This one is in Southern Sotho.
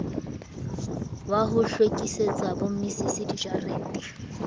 wa ho hlwekisetsa bommisisi dijarete